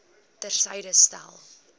ter syde stel